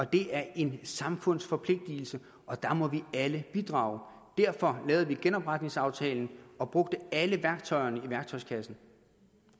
det er en samfundsforpligtelse og der må vi alle bidrage derfor lavede vi genopretningsaftalen og brugte alle værktøjerne i værktøjskassen